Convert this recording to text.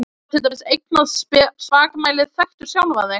Honum var til dæmis eignað spakmælið Þekktu sjálfan þig!